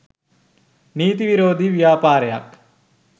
නීති විරෝධී ව්‍යාපාරයක්‌.